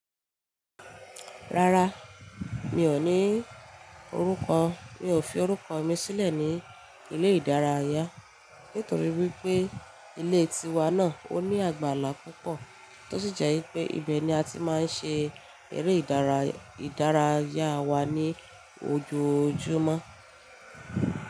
Rárá, mi ò ní orúkọ. Mi ò fi orúkọ mi sílẹ̀ ní ilé ìdárayá nítorí wípé ilé tiwa náà ó ní àgbàlá púpọ̀ tó sì jẹ́ wípé ibẹ̀ ni a ti máa ń ṣe eré idaraya ìdárayá wa ní ojoojúmọ́.